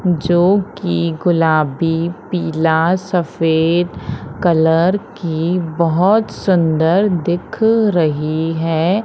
जो की गुलाबी पीला सफेद कलर की बहोत सुंदर दिख रही है।